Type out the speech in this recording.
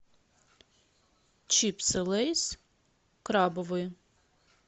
чипсы лейс крабовые